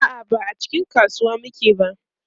a'a ba a cikin kasuwa muke ba